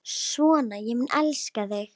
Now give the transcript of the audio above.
Svona mun ég elska þig.